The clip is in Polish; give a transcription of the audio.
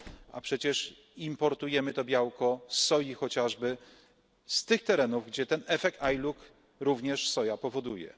a przecież importujemy to białko z soi chociażby z tych terenów, gdzie ten efekt ILUC również soja powoduje.